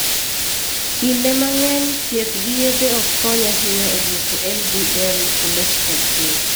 Kinde mang'eny, thieth gi yedhe ok kony ahinya e dwoko LDL cholesterol piny.